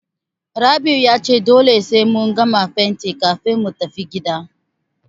Rabi'u ya ce dole sai mun gama fentin kafin mu tafi gida.